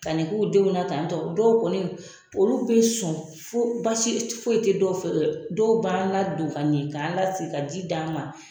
Ka nin k'u denw na ka tɔ dɔw kɔni olu bɛ sɔn fo baasi foyi tɛ dɔw fɛ dɔw b'an ladon ka ɲɛ kan lasigi ka ji di an ma